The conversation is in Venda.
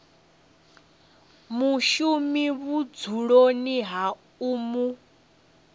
mushumi vhudzuloni ha u mu